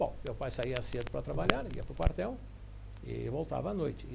Bom, meu pai saía cedo para trabalhar, ia para o quartel e voltava à noite.